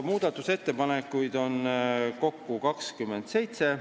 Muudatusettepanekuid on kokku 27.